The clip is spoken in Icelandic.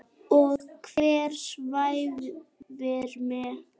Og hver svæfir mig?